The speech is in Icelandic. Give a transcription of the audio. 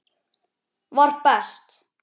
var best.